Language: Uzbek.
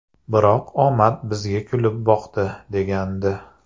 Biroq omad bizga kulib boqdi’, degandi.